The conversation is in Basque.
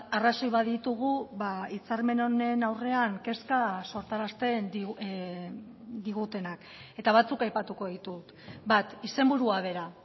arrazoi baditugu hitzarmen honen aurrean kezka sortarazten digutenak eta batzuk aipatuko ditut bat izenburua bera